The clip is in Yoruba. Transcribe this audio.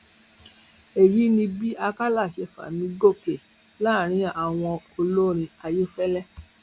èyí ni bí àkàlà ṣe fà mí gòkè láàrin àwọn olórin ayéfẹlẹ